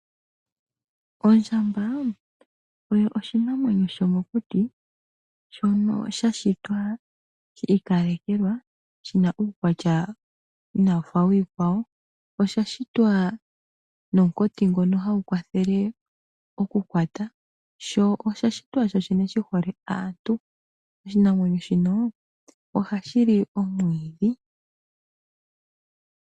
Ondjamba oyo oshinamwenyo shomokuti, shono shashitwaa shiikalekelwa shina uukwatya inawufa wiikwawo, Oshashitwaa nomunkoti ngono hagukwathele okukwata sho oshashitwa shoshene shihole aantu. Oshinamwenyo shino ohashili omwiidhi.